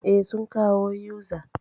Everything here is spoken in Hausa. Eh, sun kawo uza